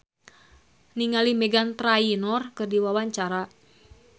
Ersa Mayori olohok ningali Meghan Trainor keur diwawancara